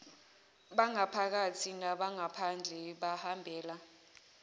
bangaphakathi nabangaphandle bahambela